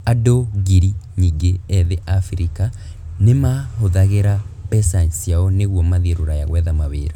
Andũ ngiri nyingĩ ethĩ a Abirika nĩ mahũthagĩra mbeca ciao nĩguo mathiĩ Rũraya gwetha mawira